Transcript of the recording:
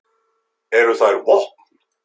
Eru þær vopn?